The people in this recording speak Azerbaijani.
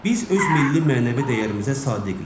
Biz öz milli mənəvi dəyərimizə sadiqik.